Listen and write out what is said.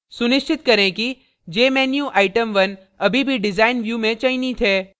सुनिश्चित करें कि jmenuitem1 अभी भी design view में चयनित है